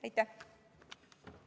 Aitäh!